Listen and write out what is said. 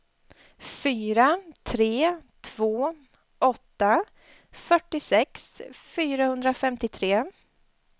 fyra tre två åtta fyrtiosex fyrahundrafemtiotre